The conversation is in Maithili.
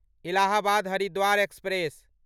इलाहाबाद हरिद्वार एक्सप्रेस